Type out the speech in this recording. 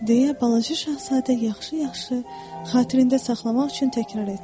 Deyə balaca Şahzadə yaxşı-yaxşı xatirində saxlamaq üçün təkrar etdi.